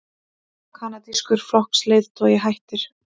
Kanadískur flokksleiðtogi hættir